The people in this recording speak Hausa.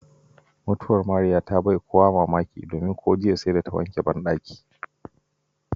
Mutuwar Mariya ta bai wa kowa mamaki, domin ko jiya sai da ta wanke bandaki.